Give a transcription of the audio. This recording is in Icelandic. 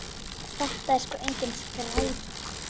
Þetta er sko engin skræpa.